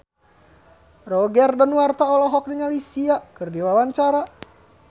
Roger Danuarta olohok ningali Sia keur diwawancara